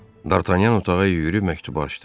Dartanyan otağa yüyürüb məktubu açdı.